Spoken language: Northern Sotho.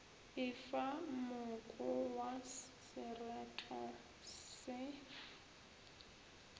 efa moko wa sereto se